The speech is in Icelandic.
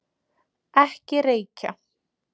Ekki reykja!